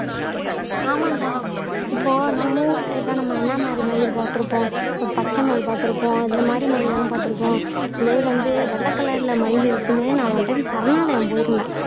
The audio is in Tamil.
ஆமாண்டா இப்போ நம்ம ஊரு சைடுல நம்ம என்ன மாதிரி மயில் பாத்திருப்போம் ஒரு பச்சை மயில் பாத்திருப்போம் இந்த மாறி மயில்தானே பாத்திருப்போம் இதே வந்து வெள்ளை கலர்ல மயில் இருக்குன்னு நான் ஒன்னு டைம் சரணாலயம் போயிருந்தேன்